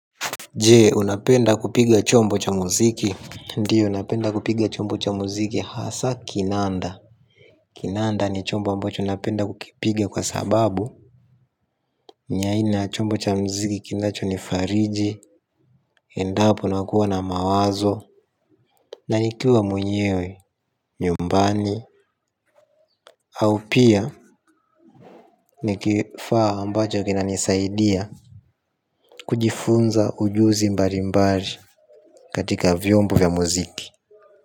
Je, unapenda kupiga chombo cha muziki? Ndiyo, napenda kupiga chombo cha muziki, hasa kinanda. Kinanda ni chombo ambacho napenda kukipiga kwa sababu. Ni aina ya chombo cha muziki kinachonifariji. Endapo nakuwa na mawazo na nikiwa mwenyewe nyumbani au pia ni kifaa ambacho kinanisaidia. Kujifunza ujuzi mbalimbali katika vyombo vya muziki.